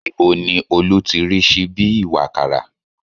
Ibo ni Olú ti rí síbí ìwàkàrà?